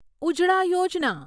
ઉજળા યોજના